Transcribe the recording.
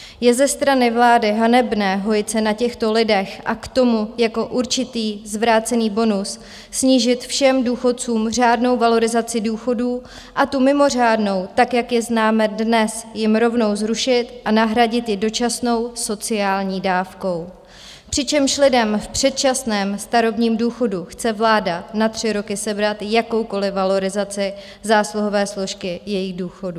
Je ze strany vlády hanebné hojit se na těchto lidech a k tomu jako určitý zvrácený bonus snížit všem důchodcům řádnou valorizaci důchodů, a tu mimořádnou, tak jak ji známe dnes, jim rovnou zrušit a nahradit ji dočasnou sociální dávkou, přičemž lidem v předčasném starobním důchodu chce vláda na tři roky sebrat jakoukoliv valorizaci zásluhové složky jejich důchodů.